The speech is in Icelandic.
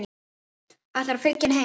Ætlarðu að fylgja henni heim?